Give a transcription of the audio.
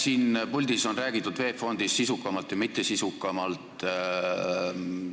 Siin puldis on räägitud VEB Fondist sisukamalt ja mittesisukamalt.